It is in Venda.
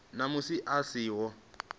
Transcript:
na musi a si ho